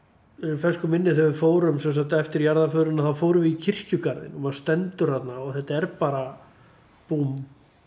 fersku minni þegar við fórum eftir jarðaförina þá fórum við í kirkjugarðinn og maður stendur þarna og þetta er bara búmm